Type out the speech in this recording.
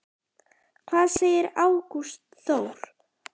Hvað segir Ágúst Þór?